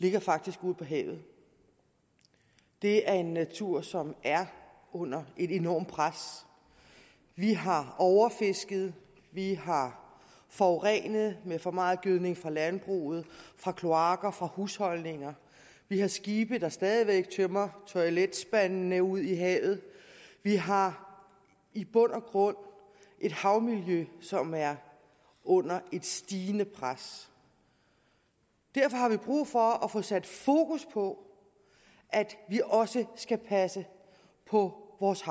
ligger faktisk ude på havet det er en natur som er under et enormt pres vi har overfisket vi har forurenet med for meget gødning fra landbruget fra kloakker fra husholdninger vi har skibe der stadig væk tømmer toiletspandene ud i havet vi har i bund og grund et havmiljø som er under et stigende pres derfor har vi brug for at få sat fokus på at vi også skal passe på vores